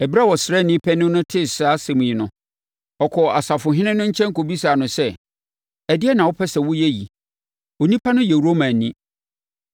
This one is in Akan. Ɛberɛ a ɔsraani panin no tee saa asɛm yi no, ɔkɔɔ ɔsafohene no nkyɛn kɔbisaa no sɛ, “Ɛdeɛn na wopɛ sɛ woyɛ yi? Onipa no yɛ Romani!”